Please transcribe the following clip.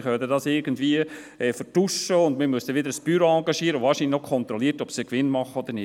Das kann man irgendwie vertuschen, sodass man wieder ein Büro engagieren muss, das kontrolliert, ob sie Gewinn machen oder nicht.